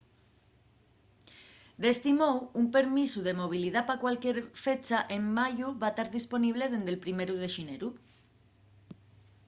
d’esti mou un permisu de movilidá pa cualquier fecha en mayu va tar disponible dende’l primeru de xineru